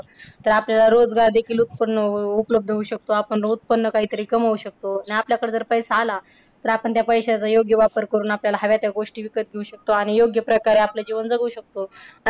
तर आपल्याला रोजगार देखील उत्पन्न अह उपलब्ध होऊ शकतो. आपण उत्पन्न काहीतरी कमवू शकतो. आणि आपल्याकडे जर पैसा आला तर आपण त्या पैशाचा योग्य वापर करून आपल्याला हव्या त्या गोष्टी विकत घेऊ शकतो आणि योग्य प्रकारे आपलं जीवन जगू शकतो.